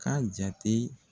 K'a jate.